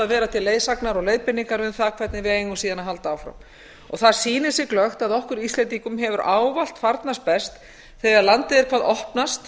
að vera til leiðsagnar og leiðbeiningar um það hvernig við eigum síðan að halda áfram það sýnir sig glöggt að okkur íslendingum hefur ávallt farnast best þegar landið er hvað opnast